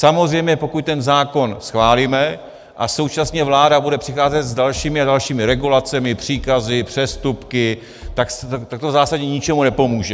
Samozřejmě pokud ten zákon schválíme a současně vláda bude přicházet s dalšími a dalšími regulacemi, příkazy, přestupky, tak to v zásadě ničemu nepomůže.